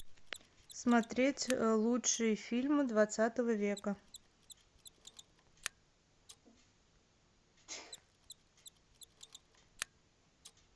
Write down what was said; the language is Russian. смотреть лучшие фильмы двадцатого века